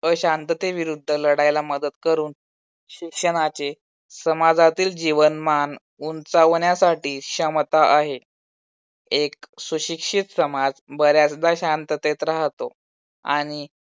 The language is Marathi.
अशांततेविरुद्ध लढायला मदत करून शिक्षणाचे समाजातील जीवनमान उंचावण्यासाठी क्षमता आहे. एक सुशिक्षित समाज बऱ्याचदा शांततेत राहतो. आणि